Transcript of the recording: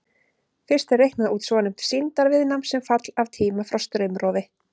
Fyrst er reiknað út svonefnt sýndarviðnám sem fall af tíma frá straumrofi.